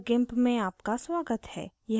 meet the gimp में आपका स्वागत है